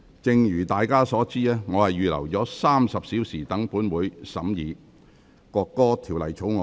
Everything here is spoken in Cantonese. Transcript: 正如大家所知，我預留了約30小時讓本會審議《國歌條例草案》。